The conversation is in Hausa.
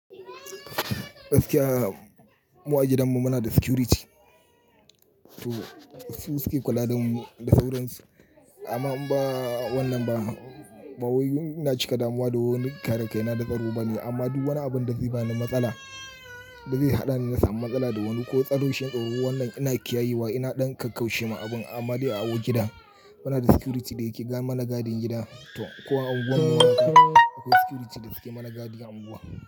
Gaskiya mu a gidanmu muna da security. Su suke kula da mu da sauransu amma in ba wannan ba, mawuyun ina cika damuwa da wani kare kaina da tsaro bane. Amma duk wani abin da zai bani matsala, da zai haɗa ni na samu matsala da wani ko tsaro shine tsaro wannan ina kiyayewa ina ɗan kakkaushe ma abun amma dai awo gida. Muna da security da yake mana gadin gida ko an unguwar mu haka akwai security da suke mana gadin unguwa.